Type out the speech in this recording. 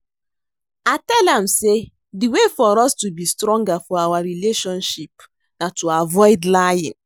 I tell am say the way for us to be stronger for our relationship na to avoid lying